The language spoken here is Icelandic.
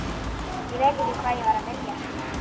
Ég veit ekki hvað ég var að vilja henni.